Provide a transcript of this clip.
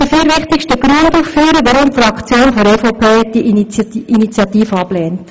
Ich möchte die vier wichtigsten Gründe ausführen, weswegen die EVP-Fraktion die Initiative ablehnt.